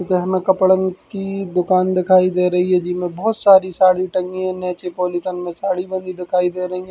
इते हमें कपड़न की दुकान दिखाई दे रही है जीमे बोहोत सारी साड़ी टगी है नीचे पॉलीथन में साड़ी बंधी दिखाई दे रही है।